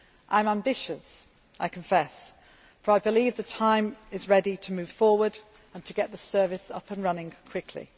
I am ambitious, I confess, for I believe it is time to move forward and to get the Service up and running quickly.